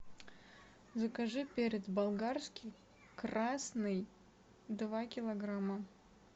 закажи перец болгарский красный два килограмма